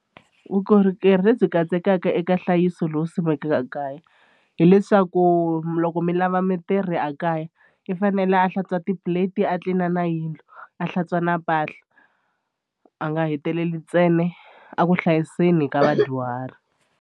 Vukorhokeri lebyi katsekaka eka nhlayiso lowu simekaka ekaya hileswaku loko mi lava mitirhi a kaya i fanele a hlantswa ti-plate a tlilina na yindlu a hlantswa na mpahla a nga heteleli ntsena a ku hlayiseni ka vadyuhari.